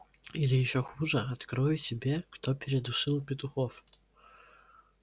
или ещё хуже открою тебе кто передушил петухов